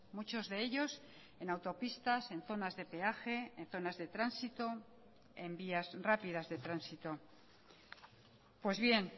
muchos de ellos en autopistas en zonas de peaje en zonas de tránsito en vías rápidas de tránsito pues bien